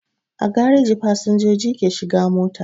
A gareji fasinjoji ke shiga mota